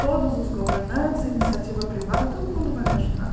Todos os governantes, a iniciativa privada, todo mundo vai me ajudar.